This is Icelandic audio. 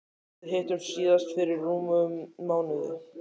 Við hittumst síðast fyrir rúmum mánuði.